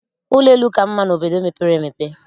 Ụlọ elu ka mma n'obodo mepere emepe